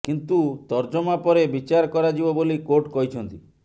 କିନ୍ତୁ ତର୍ଜମା ପରେ ବିଚାର କରାଯିବ ବୋଲି କୋର୍ଟ କହିଛନ୍ତି